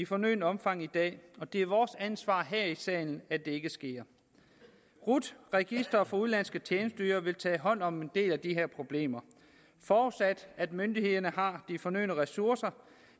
fornødne omfang i dag og det er vores ansvar her i salen at det ikke sker rut registret udenlandske tjenesteydere vil tage hånd om en del af de problemer forudsat at myndighederne har de fornødne ressourcer